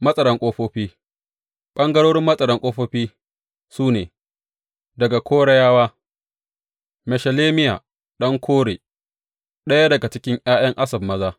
Matsaran ƙofofi Ɓangarorin Matsaran Ƙofofi su ne, Daga Korayawa, Meshelemiya ɗan Kore, ɗaya daga cikin ’ya’yan Asaf maza.